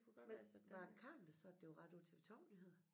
Men var det Carl der sagde at det var ret på æ TV2 nyheder?